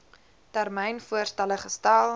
termyn voorstelle gestel